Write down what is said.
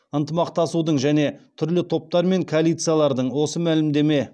ынтымақтасудың және түрлі топтар мен коалициялардың осы мәлімдеме